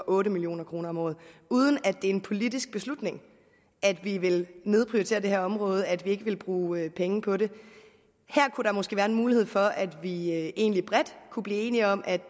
otte million kroner om året uden at det er en politisk beslutning at vi vil nedprioritere det her område altså at vi ikke vil bruge penge på det her kunne der måske være en mulighed for at vi egentlig bredt kunne blive enige om at